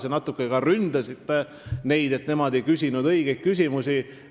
Te natuke ründasite neid, et nad nagu ei küsinud õigeid küsimusi.